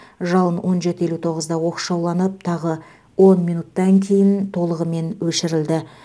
жалын он жеті елу тоғызда оқшауланып тағы он минуттан кейін толығымен өшірілді